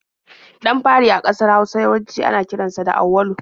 Ɗan fari a ƙasar Hausa yawanci ana kiran sa da Auwalu.